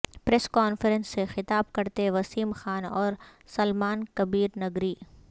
press conference سے خطاب کرتے وسیم خان او رسلمان کبیرنگری